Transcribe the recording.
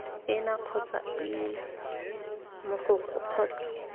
ena kgotsa ii mogokgo kgotsa